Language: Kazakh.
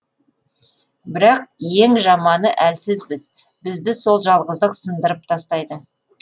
бірақ ең жаманы әлсізбіз бізді сол жалғыздық сындырып тастайды